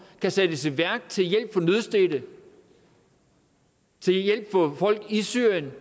kan sættes i værk til hjælp for nødstedte til hjælp for folk i syrien